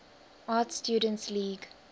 art students league